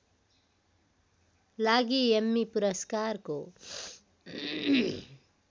लागि एम्मी पुरस्कारको